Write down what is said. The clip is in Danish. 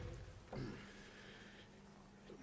men